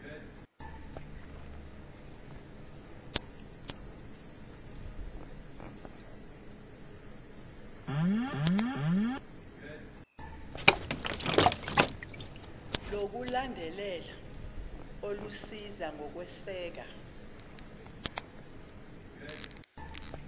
lokulandelela olusiza ngokweseka